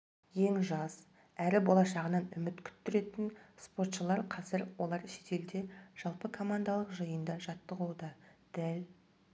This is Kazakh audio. ең жас әрі болашағынан үміт күттіретін спортшылар қазір олар шетелде жалпы командалық жиында жаттығуда дәл